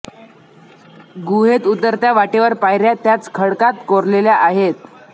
गुहेत उतरत्या वाटेवर पायऱ्या त्याच खडकात कोरलेल्या आहेत